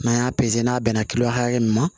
N'an y'a n'a bɛnna kilo hakɛ min ma